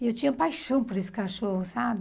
E eu tinha paixão por esse cachorro, sabe?